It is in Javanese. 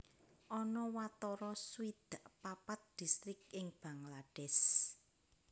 Ana watara swidak papat distrik ing Bangladesh